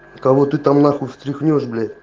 кого ты там на хуй там встрехнешь блять